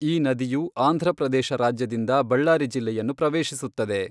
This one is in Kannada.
ಈ ನದಿಯು ಆಂಧ್ರಪ್ರದೇಶ ರಾಜ್ಯದಿಂದ ಬಳ್ಳಾರಿ ಜಿಲ್ಲೆಯನ್ನು ಪ್ರವೇಶಿಸುತ್ತದೆ.